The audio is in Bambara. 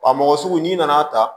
Wa mɔgɔ sugu n'i nan'a ta